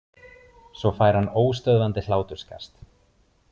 Svo fær hann óstöðvandi hláturskast.